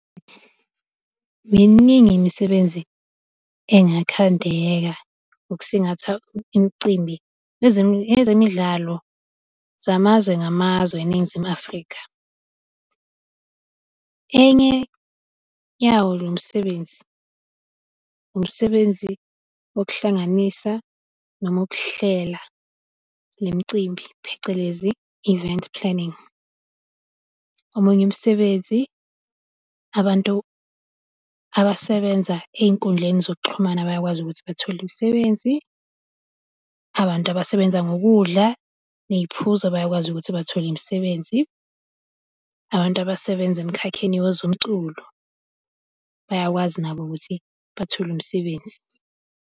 Miningi imisebenzi engakhandeka ukusingatha imicimbi yezemidlalo zamazwe-ngamazwe eNingizimu Afrika. Enye yawo lo msebenzi, umsebenzi wokuhlanganisa noma wokuhlela lemicimbi phecelezi event planning. Omunye umsebenzi abantu abasebenza ey'nkundleni zokuxhumana bayakwazi ukuthi bathole imisebenzi, abantu abasebenza ngokudla ney'phuzo bayakwazi ukuthi bathole imisebenzi, abantu abasebenza emikhakheni wezomculo bayakwazi nabo ukuthi bathole umsebenzi.